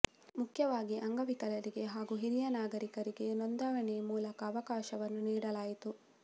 ಮುಖ್ಯವಾಗಿ ಅಂಗವಿಕಲರಿಗೆ ಹಾಗೂ ಹಿರಿಯ ನಾಗರಿಕರಿಗೆ ನೋಂದಣಿಗೆ ಮೊದಲ ಅವಕಾಶವನ್ನು ನೀಡಲಾಯಿತು